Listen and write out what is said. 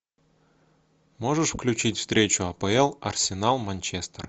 можешь включить встречу апл арсенал манчестер